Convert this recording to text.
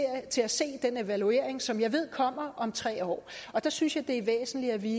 til at se den evaluering som jeg ved kommer om tre år jeg synes det er væsentligt at vi